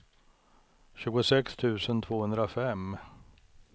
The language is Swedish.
tjugosex tusen tvåhundrafem